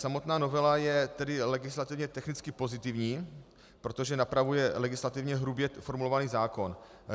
Samotná novela je tedy legislativně technicky pozitivní, protože napravuje legislativně hrubě formulovaný zákon.